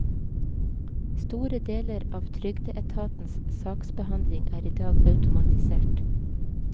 Store deler av trygdeetatens saksbehandling er i dag automatisert.